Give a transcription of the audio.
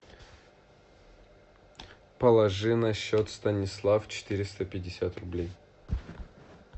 положи на счет станислав четыреста пятьдесят рублей